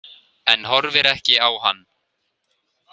En horfir ekki á hann.